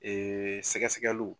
sɛgɛ sɛgɛliw.